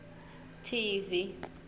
tivi